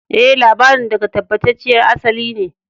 E, labarin daga tabbatacciyar asali ne.